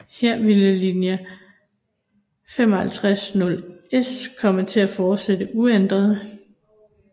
Her ville linje 550S komme til at fortsætte uændret